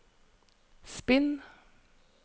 spinn